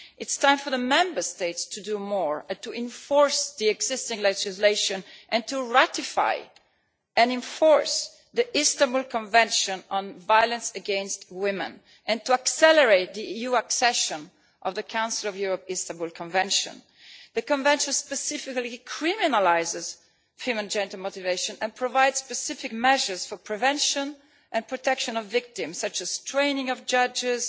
It is time for the Member States to do more to enforce the existing legislation, to ratify and enforce the Council of Europe's Istanbul Convention on Violence against Women, and to accelerate EU accession to the Istanbul Convention. The Convention specifically criminalises female genital mutilation and provides specific measures for prevention and protection of victims, such as the training of judges